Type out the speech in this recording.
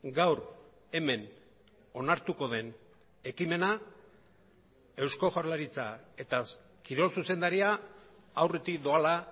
gaur hemen onartuko den ekimena eusko jaurlaritza eta kirol zuzendaria aurretik doala